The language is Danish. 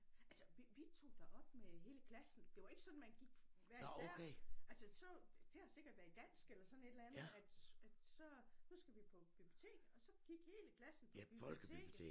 Altså vi vi tog derop med hele klassen det var ikke sådan man gik hver især altså så det har sikkert været i dansk eller sådan et eller andet at at så nu skal vi på bibliotek og så gik hele klassen på biblioteket